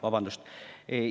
Vabandust!